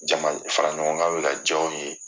Jama faraɲɔgɔn bɛ ka diya u ye